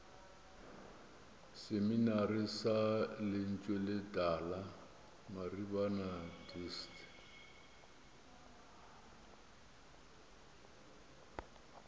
seminari sa lentsweletala maribana dist